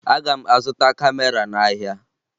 Aga m azụta kamera n'ahịa